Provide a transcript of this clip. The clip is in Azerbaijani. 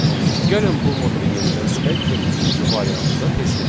Gəlin bu modulu yenidən silək və üçüncü variantı da test edək.